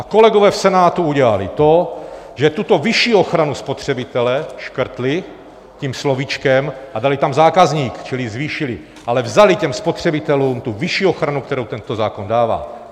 A kolegové v Senátu udělali to, že tuto vyšší ochranu spotřebitele škrtli tím slovíčkem a dali tam zákazník, čili zvýšili, ale vzali těm spotřebitelům tu vyšší ochranu, kterou tento zákon dává.